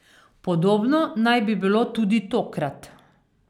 Podobno naj bi bilo tudi tokrat.